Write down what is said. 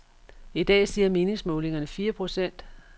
I dag siger meningsmålingerne fire procent.